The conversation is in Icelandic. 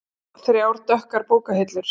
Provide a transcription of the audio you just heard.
Þrjár dökkar bókahillur.